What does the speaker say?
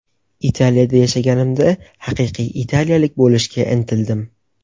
Italiyada yashaganimda, haqiqiy italiyalik bo‘lishga intildim.